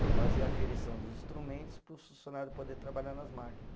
Eu fazia aferição dos instrumentos para os funcionário poder trabalhar nas máquinas.